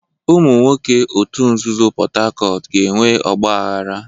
Ụmụ nwoke òtù nzuzo Port Harcourt ga-enwe ọgbaghara.